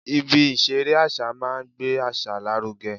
Ibi ìṣeré àṣà máa ń gbé àṣà lárugẹ